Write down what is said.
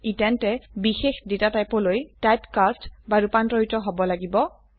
ই তেন্তে বিশেষ ডেটা টাইপলৈ টাইপকাস্ট বা ৰুপান্তৰিত হব লাগিব